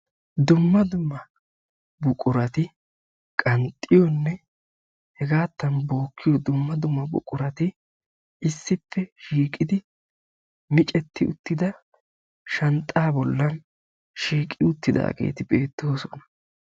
Dumma dumma buqurati qanxxiyonne jegattan vookiyo dumma dumma buqurati issippe shiiqidi micceti uttida shanxxa bollan shiiqi uttidaageeti beettoosona.